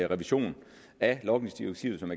revision af logningsdirektivet som